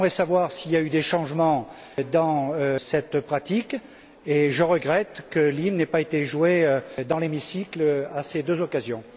J'aimerais savoir s'il y a eu des changements dans cette pratique et je regrette que l'hymne n'ait pas été joué dans l'hémicycle à ces deux occasions.